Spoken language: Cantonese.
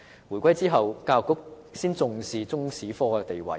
回歸後，教育局才開始重視中史科的地位。